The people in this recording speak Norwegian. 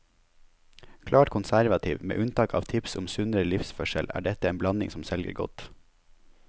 Klart konservativ, med unntak av tips om sunnere livsførsel, er dette en blanding som selger godt.